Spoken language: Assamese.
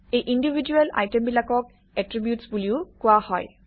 এই ইণ্ডিভিজুৱেল আইটেমবিলাকক এট্ৰিবিউটচ্ বুলিও কোৱা হয়